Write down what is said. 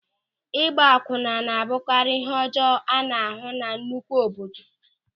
Ịgba akwunna na-abụkarị ịhe ọjọọ a na-ahụ na nnukwu obodo.